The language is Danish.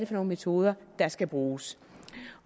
for nogle metoder der skal bruges